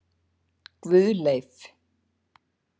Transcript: Guðleif